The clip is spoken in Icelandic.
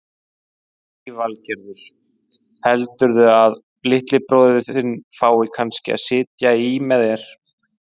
Lillý Valgerður: Heldurðu að litli bróðir þinn fái kannski að sitja í með þér?